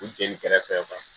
U jeli kɛrɛfɛ